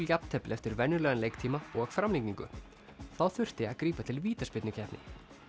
jafntefli eftir venjulegan leiktíma og framlengingu þá þurfti að grípa til vítaspyrnukeppni